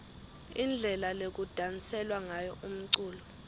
indlela lekudanselwa ngayo umculo